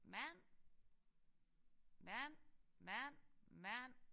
Mand mand mand mand